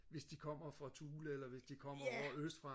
hvis de kommer fra Thule eller hvis de kommer ovre østfra